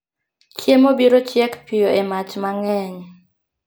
Chiemo biro chiek piyo e mach mang'eny